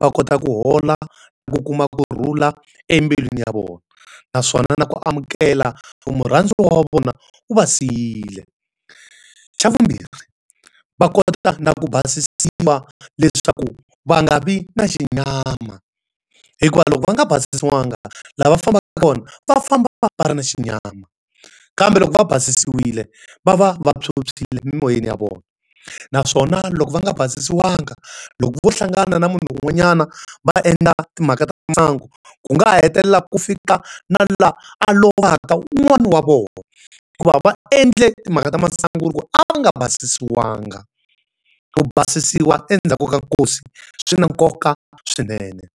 va kota ku hola na ku kuma kurhula embilwini ya vona. Naswona na ku amukela ku murhandziwa wa vona u va siyile. Xa vumbirhi, va kota na ku basisiwa leswaku va nga vi na xinyama. Hikuva loko va nga basisiwanga, laha va fambaka kona va famba va va va ri na xinyama. Kambe loko va basisiwile, va va va phyuphyile mi moyeni ya vona. Naswona loko va nga basisiwanga, loko vo hlangana na munhu un'wanyana va endla timhaka ta masangu, ku nga ha hetelelaka ku fika na laha a lovaka wun'wani wa vona. Hikuva va endle timhaka ta masangu ku ve a va nga basisiwanga. Ku basisiwa endzhaku ka nkosi swi na nkoka swinene.